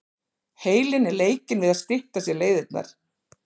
Heilinn er leikinn við að stytta sér leiðirnar.